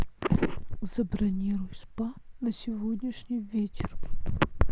забронируй спа на сегодняшний вечер